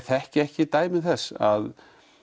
þekki ekki dæmi til þess að